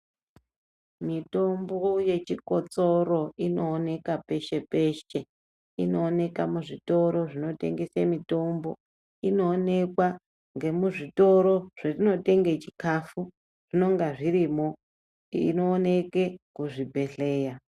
Mitombo yechikotsoro inooneka peshe peshe, inooneka muzvitoro zvinotengeswe mitombo, inoonekwa ngemuzvitoro zvetinotenge chikafu zvinenge zvirimo inooneke kuzvibhedleya.